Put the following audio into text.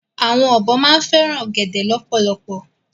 Awòn òbò fèrán ògèdè lòpòlòpò